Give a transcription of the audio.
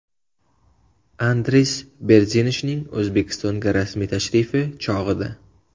Andris Berzinshning O‘zbekistonga rasmiy tashrifi chog‘ida.